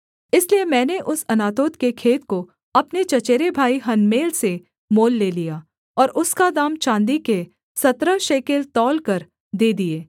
इसलिए मैंने उस अनातोत के खेत को अपने चचेरे भाई हनमेल से मोल ले लिया और उसका दाम चाँदी के सत्रह शेकेल तौलकर दे दिए